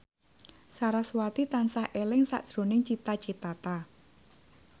sarasvati tansah eling sakjroning Cita Citata